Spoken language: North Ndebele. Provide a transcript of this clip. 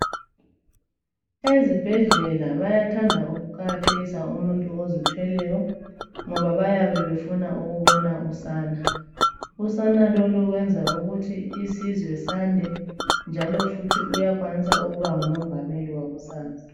Ezibhedlela bayathanda ukuqakathekisa umuntu ozithweleyo ngoba bayabe befuna ukubona usana. Usana lolu lwenza ukuthi isizwe sande njalo futhi uyakwanisa ukuba ngumongameli wakusasa.